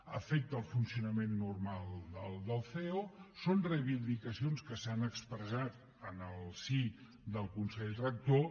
afecten el funcionament normal del ceo són reivindicacions que s’han expressat en el si del consell rector